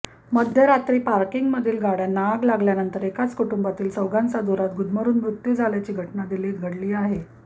मध्यरात्री पार्किंगमधील गाड्यांना आग लागल्यानंतर एकाच कुटुंबातील चौघांचा धुरात गुदमरुम मृत्यू झाल्याची घटना दिल्लीत घडली